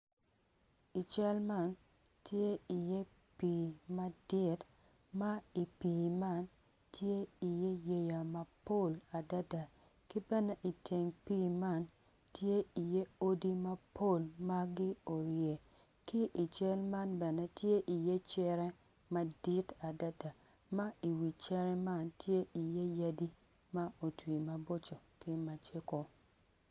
I cal man tye iye pii madit ma i pii man tye iye yeya mapol adada ki bene iteng pii man tye iye odi mapol ma gio wiye ki i cal man bene tye iye care madit adada ma iwi cere man tye iye yadi ma otwi maboco ki macego.